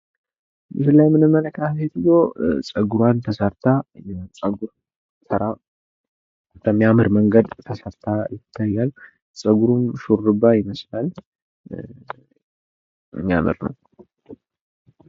ምስሉ ላይ የምንመለከታት ሴትዮ ጸጉሯን ተሰርታ ጽጉሯን በሚያምር መንገድ ተሰርታ ይታያል። ጸጉሩም ሹሩባ ይመስላል። የሚያምር ነው።